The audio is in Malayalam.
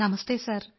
നമസ്തെ സർ